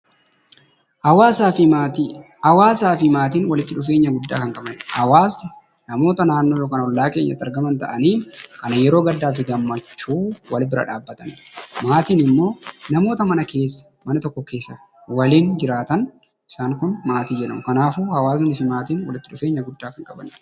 Hawaasaa fi Maatii Hawaasaa fi Maatiin walitti dhufeenya guddaa kan qabaniidha. Hawaasni namoota naannoo yookaan ollaa keenyatti argaman ta'anii, kan yeroo gaddaa fi gammachuu wal bira dhaabbataniidha. Maatiin immoo namoota mana tokko keessa waliin jiraatan isaan kun maatii jedhamu. Kanaafuu hawaasni fi maatiin walitti dhufeenya guddaa kan qabani dha.